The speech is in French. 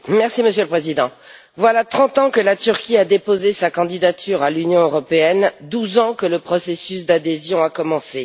Monsieur le Président, voilà trente ans que la Turquie a déposé sa candidature à l'Union européenne et douze ans que le processus d'adhésion a commencé.